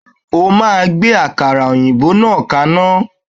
O máa gbé àkàrà òyìnbó náà kaná!